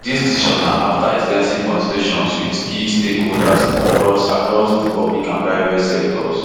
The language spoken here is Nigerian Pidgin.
dis decision na afta ex ten sive consultations wit key stakeholders across across di public and private sectors